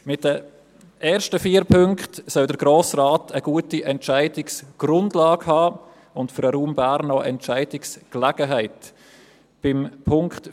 Die ersten vier Punkte sollen dem Grossen Rat eine gute Entscheidungsgrundlage und auch Entscheidungsgelegenheit für den Raum Bern geben.